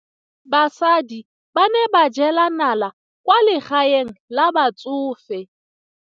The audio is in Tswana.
Basadi ba ne ba jela nala kwaa legaeng la batsofe.